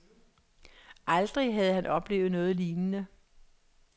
Aldrig havde han oplevet noget lignende.